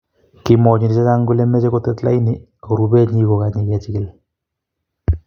Kimwa konyil chechang kolemochei kotet laini ak kurebee nyii kokonye kechikil.